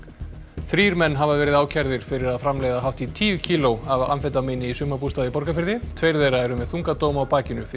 þrír menn hafa verið ákærðir fyrir að framleiða hátt í tíu kíló af amfetamíni í sumarbústað í Borgarfirði tveir þeirra eru með þunga dóma á bakinu fyrir